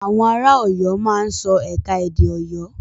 Àwọn ara Ọ̀yọ́ máa ń sọ ẹ̀ka-edè Ọ̀yọ́.